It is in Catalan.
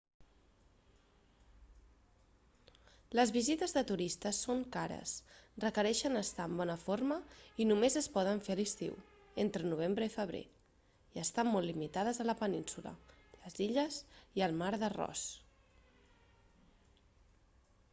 les visites de turistes són cares requereixen estar en bona forma i només es poden fer a l'estiu entre novembre i febrer i estan molt limitades a la península les illes i el mar de ross